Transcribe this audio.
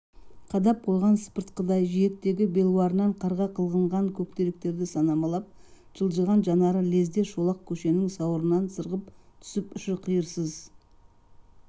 қадап қойған сыпыртқыдай жиектегі белуарынан қарға қылғынған көктеректерді санамалап жылжыған жанары лезде шолақ көшенің сауырынан сырғып түсіп ұшы-қиырсыз